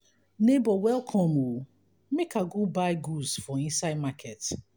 nebor welcome o make i go buy goods for inside market.